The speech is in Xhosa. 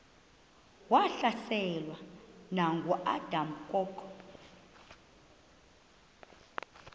wahlaselwa nanguadam kok